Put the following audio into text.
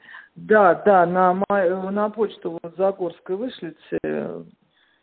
да да нам на почту в загорской вышлите